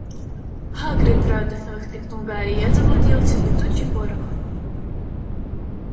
хагрид радостно воскликнул гарри я заблудился летучий порох